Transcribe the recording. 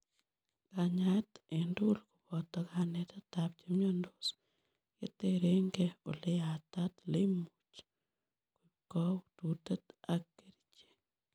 Kanyaet en tugul koboto kanetetab chemiondos, keterengei oleyatat ileimuch koib koututet ak kerichek.